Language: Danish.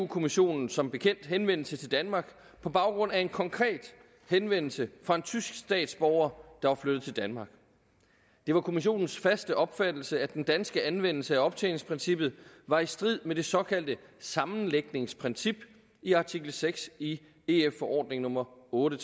kommissionen som bekendt henvendelse til danmark på baggrund af en konkret henvendelse fra en tysk statsborger der var flyttet til danmark det var kommissionens faste opfattelse at den danske anvendelse af optjeningsprincippet var i strid med det såkaldte sammenlægningsprincip i artikel seks i ef forordning nummer otte